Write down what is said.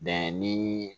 Bɛn ni